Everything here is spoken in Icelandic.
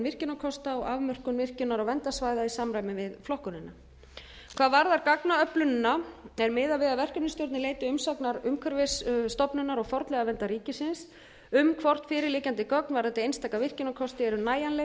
virkjunarkosta og afmörkun virkjunar og verndarsvæða í samræmi við flokkunina hvað varðar gagnaöflunina er miðað við að verkefnisstjórnin leiti umsagnar umhverfisstofnunar og fornleifaverndar ríkisins um hvort fyrirliggjandi gögn varðandi einstaka virkjunarkosti eru nægjanleg